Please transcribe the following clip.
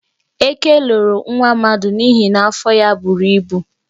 Ekè loro nwa mmadụ n'ihi na afọ ya buru ibu.